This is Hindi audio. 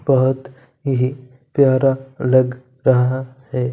बहोत ही प्यारा लग रहा है।